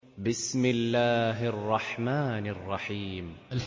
بِسْمِ اللَّهِ الرَّحْمَٰنِ الرَّحِيمِ